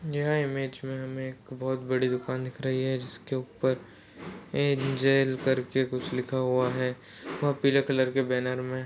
यह इमेज मे हमे एक बहुत बड़ी दुकान दिख रही है। जिसके उपर एक जेल करके कुछ लिखा हुआ है। वह पीले कलर के बैनर मे--